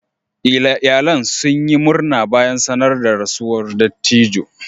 Iyalan sun yi murna bayan sanar da rasuwan dattijo.